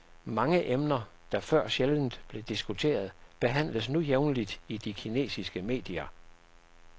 Mange emner, der før sjældent blev diskuteret, behandles nu jævnligt i de kinesiske medier.